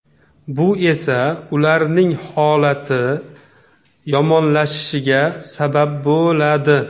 Bu esa ularning holati yomonlashishiga sabab bo‘ladi.